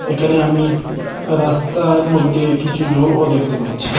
এখানে আমি রাস্তার মইধ্যে কিছু জলও দেখতে পাচ্ছি।